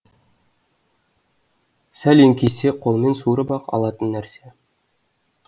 сәл еңкейсе қолмен суырып ақ алатын нәрсе